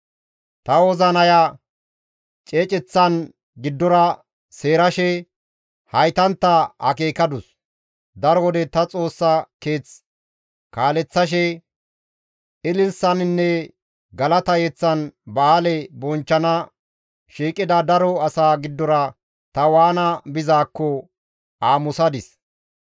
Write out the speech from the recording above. Ta wozinaya ceeceththan giddora seerashe haytantta akeekadus; daro wode ta Xoossa keeth kaaleththashe ililisaninne galata yeththan ba7aale bonchchana shiiqida daro asa giddora ta waana bizaakko aamusadis.